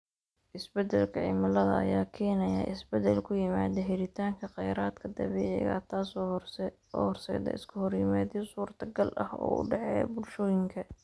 Isbeddelka cimilada ayaa keenaya isbeddel ku yimaada helitaanka kheyraadka dabiiciga ah, taasoo horseedda iskahorimaadyo suurtagal ah oo u dhexeeya bulshooyinka.